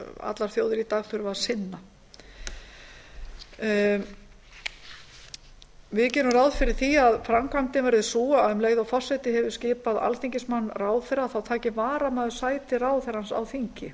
allar þjóðir í dag þurfa að sinna við gerum ráð fyrir því að framkvæmdin verði sú að um leið og forseti hefur skipað alþingismann ráðherra þá taki varamaður sæti ráðherrans á þingi